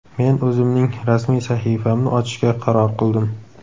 Men o‘zimning rasmiy sahifamni ochishga qaror qildim.